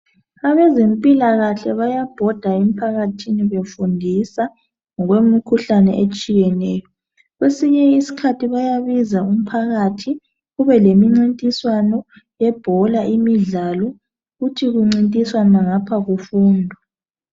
Abezempilakahle bayabhoda emphakathini befundisa ngokwemikhuhlane etshiyeneyo. Kwesinye isikhathi bayabiza umphakathi kube lemincintiswano yebhola imidlalo kuthi kuncintiswana ngapha kufundwa.